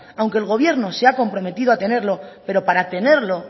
aunque el gobierno se ha comprometido a tenerlo pero para tenerlo